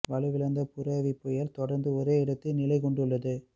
வலுவிழந்த புரெவி புயல் தொடர்ந்து ஒரே இடத்தில் நிலை கொண்டுள்ளது